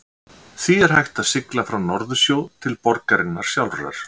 því er hægt að sigla frá norðursjó til borgarinnar sjálfrar